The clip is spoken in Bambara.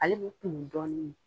Ale bɛ kumu dɔɔnin